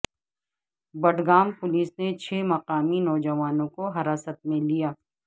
Budgam police نے چھ مقامی نوجوانوں کو حراست میں لیا